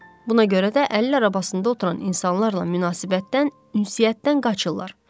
Buna görə də əlillər arabasında oturan insanlarla münasibətdən, ünsiyyətdən qaçırlar.